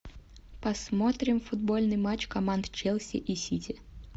посмотрим футбольный матч команд челси и сити